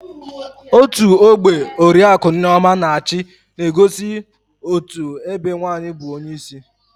Otú ọgbe oriaku Nneoma na-achi na-egosi otú ebe nwaanyị bụ onyeisi